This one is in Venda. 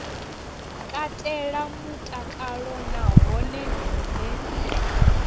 katela mutakalo na hone hune